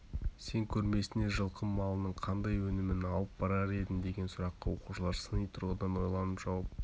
сен көрмесіне жылқы малының қандай өнімін алып барар едің деген сұраққа оқушылар сыни тұрғыдан ойланып жауап